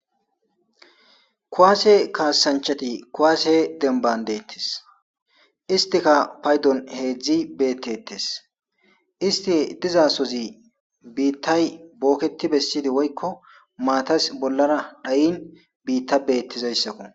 Kuwasse kassanchchati kuwasse dembban de'etes. Istikka paydon heezzi beetteetes. Isti diza sozi biitay booketti bessidi woyko maatay bollara tsayin biitappe be'ettizayssako.